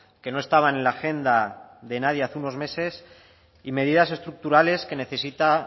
que no estaban en la agenda de nadie hace unos meses y medidas estructurales que necesita